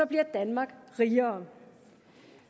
bliver danmark rigere